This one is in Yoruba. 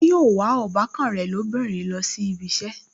Ṣé yóò wa ọbàkan rẹ̀ lóbìnrin lọ sí ibi ìṣẹ́